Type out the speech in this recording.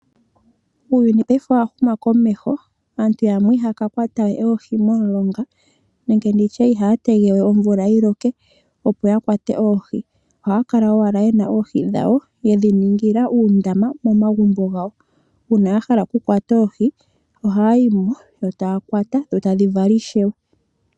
Uuyuni paife owa huma komesho aantu yamwe ihaya ka kwata we oohi momilonga nenge ndi tye ihaya tege we omvula yi loke, opo ya kwate oohi ohaya kala owala ye na oohi dhawo, ye dhiningila uundama momagumbo gawo. Una ya hala oku kwata oohi ohaya yi mo yo taya kwata dho tadhi vala ishewe.